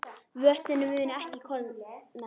Vötnin munu ekki klofna